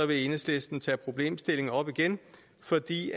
vil enhedslisten tage problemstillingen op igen fordi